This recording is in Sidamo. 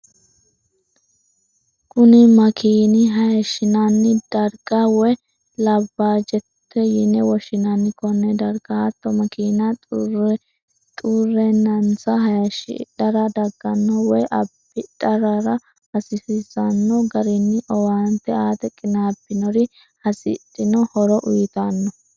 Kuni makiinna hayishinnanni dariga( laabaajjote) yine woshinnanni. Kone dariga hatto makinna xuree'nanisa hayishidara daganno woyi abidhanorira hasisano garinni owaante aate qinabinori hasidhino horo uyitanno